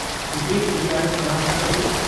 کتنی رعایت فراہم کی جاتی ہے؟